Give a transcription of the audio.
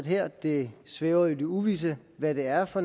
her det svæver i det uvisse hvad det er for